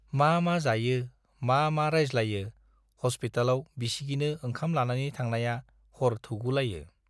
मा मा जायो, मा मा रायज्लायो हस्पितालाव बिसिगिनो ओंखाम लानानै थांनाया हर थौगुलायो।